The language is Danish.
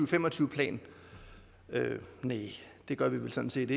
fem og tyve plan næh det gør vi vel sådan set